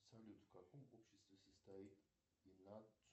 салют в каком обществе состоит